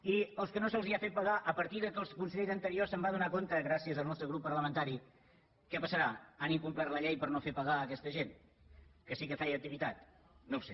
i amb els que no se’ls ha fet pagar a partir que el conseller d’interior se’n va adonar gràcies al nostre grup parlamentari què passarà han incomplert la llei per no fer pagar a aquesta gent que sí que feia activitat no ho sé